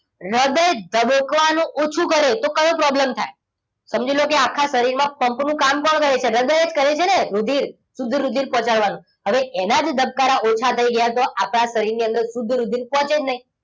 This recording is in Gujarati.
હૃદય ધબકવાનું ઓછું કરે તો કયો problem થાય? સમજી લો કે આખા શરીરમાં pump નું કામ કોણ કરે છે? હૃદય જ કરે છે ને! રુધિર શુદ્ધ રુધિર પહોંચાડવાનું હવે એના જે ધબકારા ઓછા થઈ ગયા. તો આપણા શરીરની અંદર શુદ્ધ રુધિર પહોંચે જ નહીં